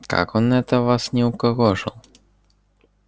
как он это вас не укокошил